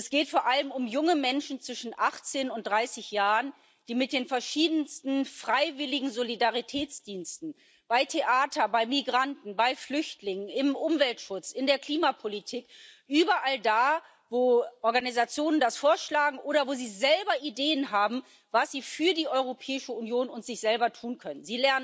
Und es geht vor allem um junge Menschen zwischen 18 und 30 Jahren, die mit den verschiedensten freiwilligen Solidaritätsdiensten bei Theatern, bei Migranten, bei Flüchtlingen, im Umweltschutz, in der Klimapolitik überall da, wo Organisationen das vorschlagen oder wo sie selber Ideen haben, was sie für die Europäische Union und sich selber tun können.